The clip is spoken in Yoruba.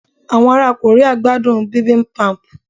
awọn ara Korea gbadun Bibimbap